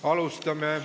Alustame.